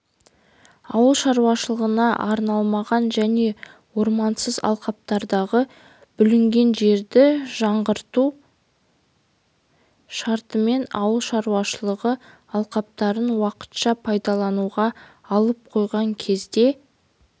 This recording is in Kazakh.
ауыл шаруашылығына арналмаған және ормансыз алқаптардағы бүлінген жерді жаңғырту шартымен ауыл шаруашылығы алқаптарын уақытша пайдалануға алып қойған кезде